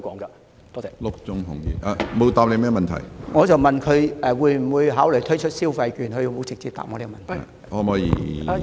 我問局長會否考慮推出消費券，他卻沒有直接回答我這個問題。